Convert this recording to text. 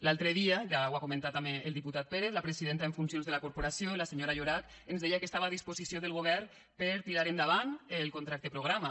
l’altre dia ja ho ha comentat també el diputat pérez la presidenta en funcions de la corporació la senyora llorach ens deia que estava a disposició del govern per a tirar endavant el contracte programa